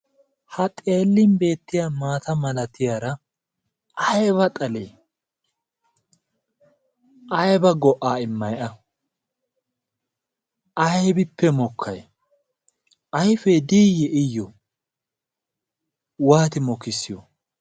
Ha xeellin beettiya maata malatiyaara aiba xalee aiba go'aa immaiya aybippe mokkay ayfee diyyi iyyo waati mokissiyo?